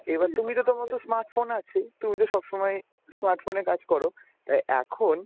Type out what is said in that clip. এবার তুমি তো তোমার smart phone আছেই তুমি তো সবসময় smart phone এ কাজ কর তা এখন